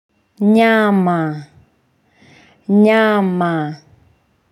Nyama. Nyama.